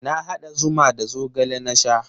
Na haɗa zuma da zogale na sha.